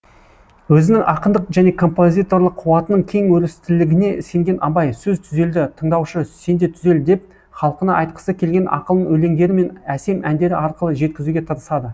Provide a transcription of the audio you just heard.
өзінің ақындық және композиторлық қуатының кең өрістілігіне сенген абай сөз түзелді тыңдаушы сенде түзел деп халқына айтқысы келген ақылын өлеңдері мен әсем әндері арқылы жеткізуге тырысады